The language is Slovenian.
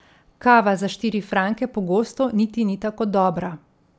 Kava za štiri franke pogosto niti ni tako dobra ...